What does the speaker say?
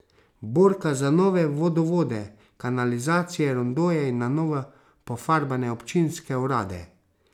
Borka za nove vodovode, kanalizacije, rondoje in na novo pofarbane občinske urade.